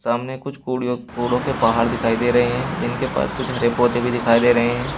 सामने कुछ कुड़ी कूड़ो के पहाड़ दिखाई दे रहे हैं जिनके पास हरे पौधे भी दिखाई दे रहे हैं।